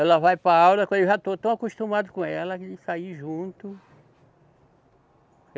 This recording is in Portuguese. Ela vai para a aula, eu já estou tão acostumado com ela, a gente sair junto.